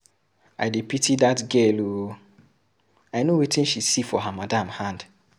I dey pity dat girl ooo, I know wetin she see for her madam hand.